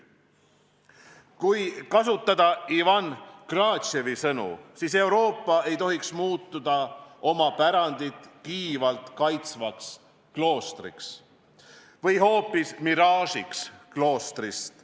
Kui kasutada Ivan Krastevi sõnu, siis Euroopa ei tohiks muutuda oma pärandit kiivalt kaitsvaks kloostriks või hoopis miraažiks kloostrist.